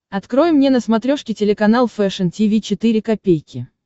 открой мне на смотрешке телеканал фэшн ти ви четыре ка